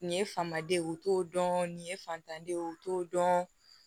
Nin ye famaden ye u t'o dɔn nin ye fantanden ye u t'o dɔn